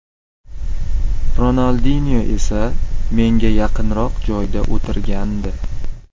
Ronaldinyo esa menga yaqinroq joyda o‘tirgandi.